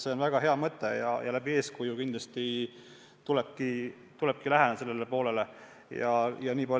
See on väga hea mõte ja ka eeskuju andes kindlasti tulebki seda valdkonda arendada.